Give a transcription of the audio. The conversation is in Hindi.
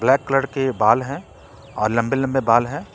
ब्लैक कलर के बाल हैं और लंबे लंबे बाल हैं।